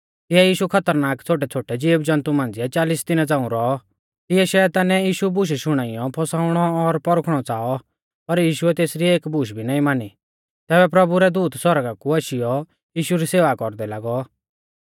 तिऐ यीशु खतरनाक छ़ोटैछ़ोटै ज़ीवजन्तु मांझ़िऐ चालिस दिना झ़ांऊ रौऔ तिऐ शैतानै यीशु बुशु शुणाइयौ फसाउणौं और परखुणौ च़ाऔ पर यीशुऐ तेसरी एक बूश भी नाईं मानी तैबै प्रभु रै दूत सौरगा कु आशीयौ यीशु री सेवा कौरदै लागौ